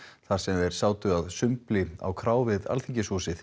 þar sem þeir sátu að sumbli á krá við Alþingishúsið